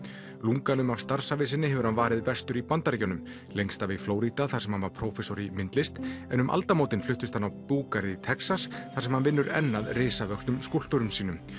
lunganu af starfsævi sinni hefur hann varið vestur í Bandaríkjunum lengst af í Flórída þar sem hann var prófessor í myndlist en um aldamótin fluttist hann á búgarð í Texas þar sem hann vinnur enn að risavöxnum skúlptúrum sínum